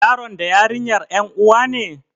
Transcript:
Yaron da yarinyar ƴan uwa ne?